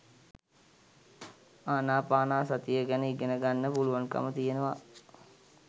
ආනාපානසතිය ගැන ඉගෙන ගන්න පුළුවන්කම තියෙනව